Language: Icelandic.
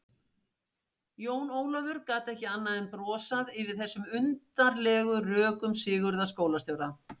Jón Ólafur gat ekki annað en brosað yfir þessum undarlegu rökum Sigurðar skólastjóra.